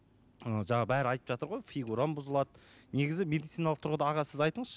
ы жаңа бәрі айтып жатыр ғой фигурам бұзылады негізі медициналық тұрғыда аға сіз айтыңызшы